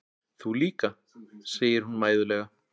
Þú líka, segir hún mæðulega.